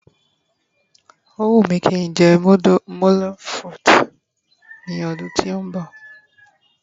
o wu mi ki njé moule frites ní ọdún tí o nbọ